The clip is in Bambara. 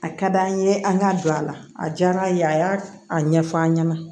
A ka d'an ye an ka don a la a diyara an ye a y'a ɲɛf'an ɲɛna